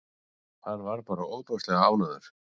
Hann var bara ofsalega ánægður.